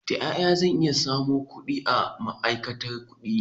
Ta ƴaƴa zan iya samun aron ƙudi a ma'aikatar ƙudi?